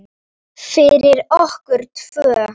Fyrir okkur tvö.